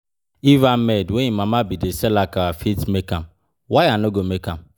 If Ahmed wey im mama bin dey sell akara fit make am, why I no go make am?